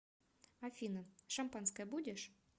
афина шампанское будешь